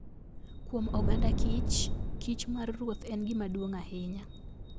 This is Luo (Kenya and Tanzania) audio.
Kuom oganda kich, kich mar ruoth en gima duong' ahinya.